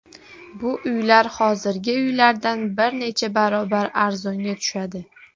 Bu uylar hozirgi uylardan bir necha barobar arzonga tushadi.